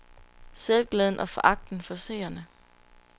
Selvglæden og foragten for seerne.